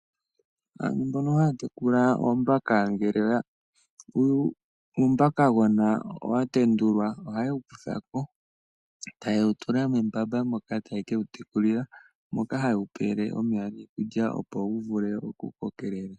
Aantu mbono haya tekula oombaka ngele uumbakagona owa tendulwa oha ye wu kutha ko, eta ye wu tula membamba moka taye ke wu tekulila moka ha ye wu pele omeya niikulya opo wu vule oku kokelela.